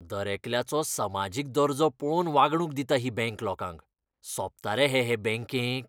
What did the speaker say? दरेकल्याचो समाजीक दर्जो पळोवन वागणूक दिता ही बँक लोकांक. सोबता रे हें हे बँकेक?